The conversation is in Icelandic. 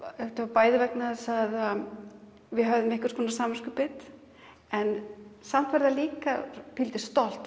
bæði vegna þess að við höfðum einhvers konar samviskubit en samt var það líka pínulítið stolt